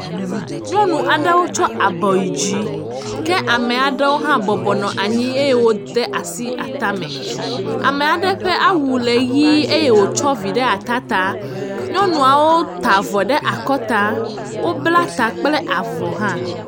Nyɔnu aɖewo tsɔ abɔ yi dzi, ke ameaɖewo hã bɔbɔnɔ anyi eye wo de asi atame, amea ɖe ƒe awu le ɣie, eye wo tsɔ vi ɖe atata, Nyɔnuawo ta avɔ ɖe akɔta, wo bla ta kple avɔ hã.